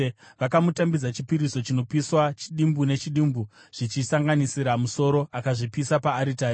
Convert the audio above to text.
Vakamutambidza chipiriso chinopiswa chidimbu nechidimbu zvichisanganisira musoro akazvipisa paaritari.